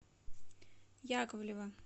яковлева